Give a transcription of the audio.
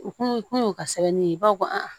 U kun y'u ka sɛbɛnni ye u b'a fɔ ko